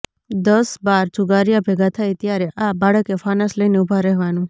દસ બાર જુગારિયા ભેગા થાય ત્યારે આ બાળકે ફાનસ લઈને ઊભા રહેવાનું